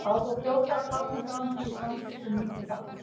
Þá fór fljótlega að kárna gamanið í samskiptum mínum við Bakkus.